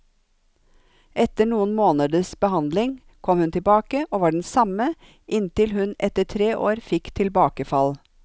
Etter noen måneders behandling kom hun tilbake, og var den samme, inntil hun etter tre år fikk tilbakefall.